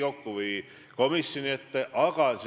Nüüd siis kaks konkreetset küsimust.